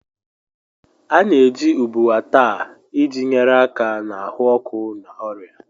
A na-eji ubuwa taa iji nyere aka na ahụ ọkụ na ọrịa.